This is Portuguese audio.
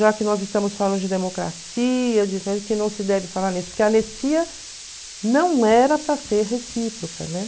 Já que nós estamos falando de democracia, que não se deve falar nisso, porque a anistia não era para ser recíproca, né?